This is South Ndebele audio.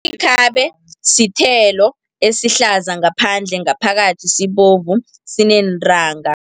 Ikhabe sithelo esihlaza ngaphandle, ngaphakathi sibovu sineentanga.